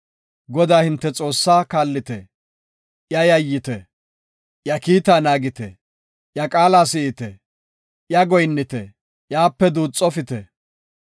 Godaa hinte Xoossaa kaallite; iyaw yayyite; iya kiita naagite; iya qaala si7ite; iyaw goyinnite; iyape duuxofite.